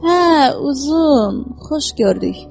Hə, uzun, xoş gördük.